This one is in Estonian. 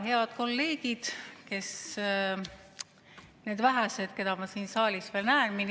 Head kolleegid, need vähesed, keda ma siin saalis veel näen!